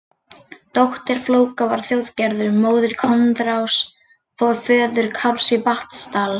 Dóttir Flóka var Þjóðgerður, móðir Koðráns, föður Kárs í Vatnsdal.